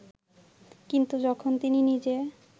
কিন্তু যখন তিনি নিজে